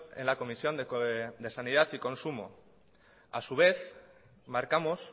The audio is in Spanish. en la comisión de sanidad y consumo a su vez marcamos